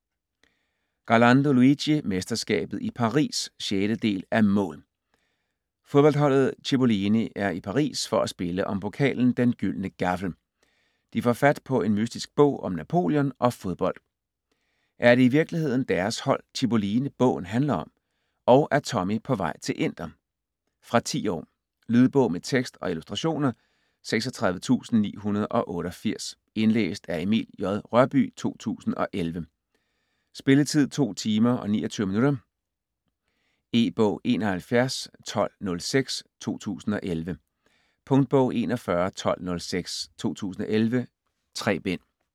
Garlando, Luigi: Mesterskabet i Paris 6. del af Mål!. Fodboldholdet Cippoline er i Paris for at spille om pokalen Den gyldne Gaffel. De får fat på en mystisk bog om Napoleon og fodbold. Er det i virkeligheden deres hold, Cippoline, bogen handler om? Og er Tommi på vej til Inter? Fra 10 år. Lydbog med tekst og illustrationer 36988 Indlæst af Emil J. Rørbye, 2011. Spilletid: 2 timer, 29 minutter. E-bog 711206 2011. Punktbog 411206 2011. 3 bind.